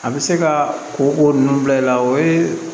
A bɛ se ka ko ko ninnu bila i la o ye